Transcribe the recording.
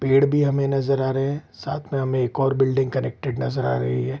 पेड़ भी हमे नजर आ रहे है साथ में हमे एक और बिल्डिंग कनेक्टेड नजर आ रही है ।